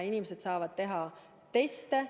Inimesed saavad teha teste.